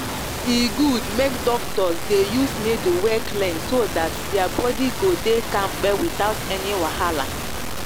e good make doctors dey use needle wey clean so that their body go dey kampe without any wahala.